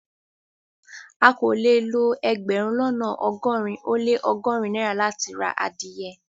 À kò lè lọ ẹgbérùn lọ́nà ogórin o le ọgọ́rin naira láti rá adìẹ